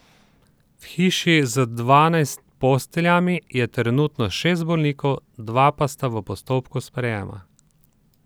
V hiši z dvanajst posteljami je trenutno šest bolnikov, dva pa sta v postopku sprejema.